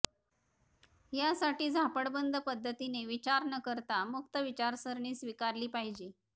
यासाठी झापडबंद पद्धतीने विचार न करता मुक्त विचारसरणी स्वीकारली पाहिजे